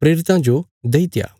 प्रेरितां जो देईत्या